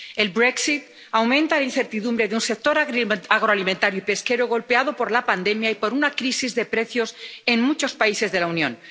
El aumenta la incertidumbre de un sector agrícola, agroalimentario y pesquero golpeado por la pandemia y por una crisis de precios en muchos países de la Unión.